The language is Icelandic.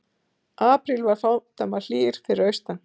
Apríl var fádæma hlýr fyrir austan